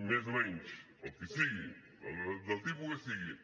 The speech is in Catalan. més o menys el que sigui del tipus que sigui